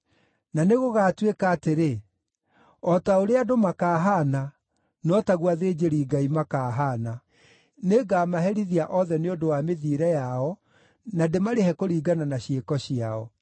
Na nĩgũgatuĩka atĩrĩ: O ta ũrĩa andũ makaahaana, no taguo athĩnjĩri-Ngai makaahaana. Nĩngamaherithia othe nĩ ũndũ wa mĩthiĩre yao, na ndĩmarĩhe kũringana na ciĩko ciao.